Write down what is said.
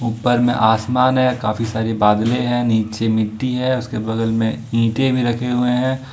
उपर में आसमान है काफी सारे बादले है नीचे मिट्टी है उसके बगल में ईंटे भी रखे हुए हैं।